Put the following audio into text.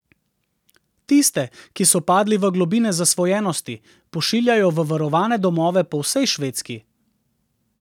Tiste, ki so padli v globine zasvojenosti, pošiljajo v varovane domove po vsej Švedski.